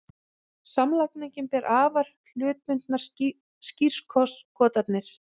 Samlagning ber afar hlutbundnar skírskotanir.